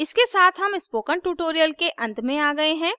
इसके साथ हम स्पोकन ट्यूटोरियल के अंत में आ गए हैं